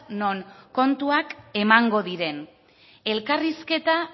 non kontuak emango diren elkarrizketa